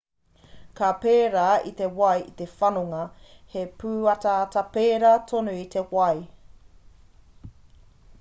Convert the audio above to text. ka pērā i te wai te whanonga he pūataata pērā tonu i te wai